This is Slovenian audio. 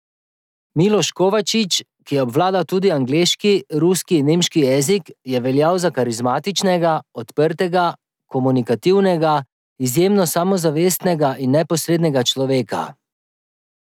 Miloš Kovačič, ki je obvladal tudi angleški, ruski in nemški jezik, je veljal za karizmatičnega, odprtega, komunikativnega, izjemno samozavestnega in neposrednega človeka.